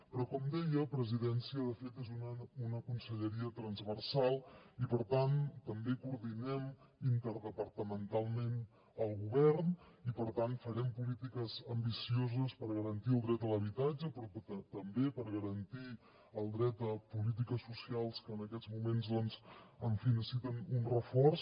però com deia presidència de fet és una conselleria transversal i per tant també coordinem interdepartamentalment el govern i per tant farem polítiques ambicioses per garantir el dret a l’habitatge però també per garantir el dret a polítiques socials que en aquests moments doncs en fi necessiten un reforç